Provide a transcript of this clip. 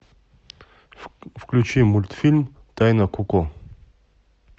включи мультфильм тайна коко